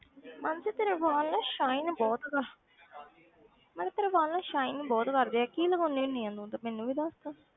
ਮਾਨਸੀ ਤੇਰੇ ਵਾਲ ਨਾ shine ਬਹੁਤ ਗਾ ਮਤਲਬ ਤੇਰੇ ਵਾਲ ਨਾ shine ਬਹੁਤ ਕਰਦੇ ਆ, ਕੀ ਲਗਾਉਂਦੀ ਹੁੰਦੀ ਹੈ ਇਹਨੂੰ ਤੇ ਮੈਨੂੰ ਵੀ ਦੱਸ ਤਾਂ।